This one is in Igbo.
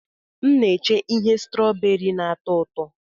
M na-eche ihe strooberi na-atọ ụtọ.